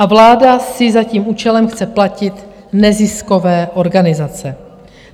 A vláda si za tím účelem chce platit neziskové organizace.